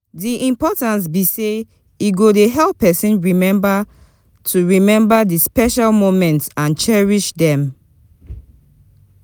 di importance be say e dey help pesin to remember to remember di special moments and cherish dem.